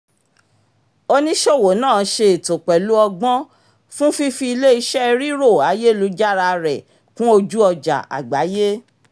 oníṣòwò náà ṣe ètò pẹ̀lú ọgbọ́n fún fífi ilé-iṣẹ́ rírò ayélujára rẹ̀ kún ojú-ọjà àgbáyé